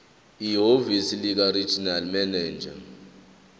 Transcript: ehhovisi likaregional manager